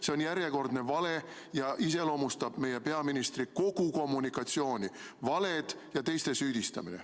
See on järjekordne vale ja iseloomustab meie peaministri kogu kommunikatsiooni – valed ja teiste süüdistamine.